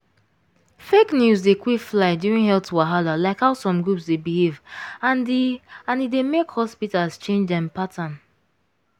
fake news dey quick fly during health wahala like how some groups dey behave and e and e dey make hospitals change dem pattern.